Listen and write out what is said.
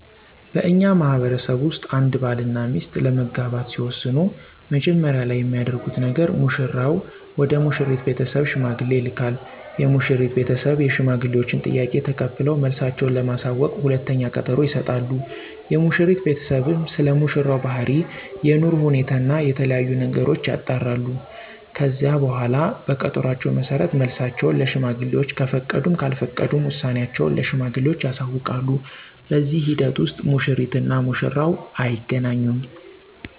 በእኛ ማህበረሰብ ውስጥ አንድ ባል እና ሚስት ለመጋባት ሲወስኑ መጀመሪያ ላይ የሚያደርጉት ነገር ሙሽራው ወደ ሙሽሪት ቤተሰብ ሽማግሌ ይልካል። የሙሽሪት ቤተሰብ የሽማግሌወችን ጥያቄ ተቀብለው መልሳቸው ለማሳወቅ ሁለተኛ ቀጠሮ ይሰጣሉ። የሙሽሪት ቤተሰብም ስለሙሽራው ባህሪ፣ የኑሮ ሁኔታ እና የተለያዬ ነገሮችን ያጣራሉ። ከዚህ በኃላ በቀጠሮአቸው መሠረት መልሳቸውን ለሽማግሌወች ከፈቀዱም ካልፈቀዱም ውሳኔአቸውን ለሽማግሌወቹ ያሳውቃሉ። በዚህ ሂደት ውስጥ ሙሽሪት እና ሙሽራው አይገናኙም።